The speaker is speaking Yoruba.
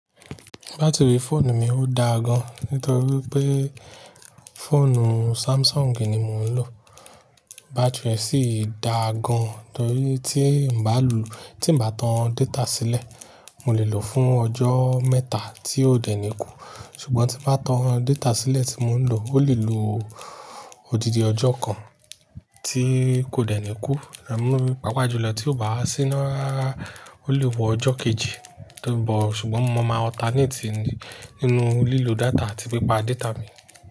Batiri fóònù mi ó dáa gan, nítorí pé fóònù Samsung ni mo ń lò. Batiri ẹ sí dáa gan, torí tí ń bá lò-- tí ń bá tan data sílẹ̀, mo lè lò fún ọjọ́ mẹ́ta tí ó dẹ̀ ní ikú. Ṣùgbọ́n tí n bá tan data sílẹ̀ tí mo ń lò, ó lè lò odidi ọjọ́ kan tí kò dẹ̀ ní ikú. Ẹ̀ mú mi pàápàá jùlọ tí ó bá wà síná rara, ó lè wọ ọjọ́ kejì, torí bọ̀-- ṣùgbọ́n mo máa alternate ní-- nínú lílo data àti pípa data mi.